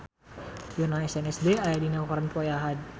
Yoona SNSD aya dina koran poe Ahad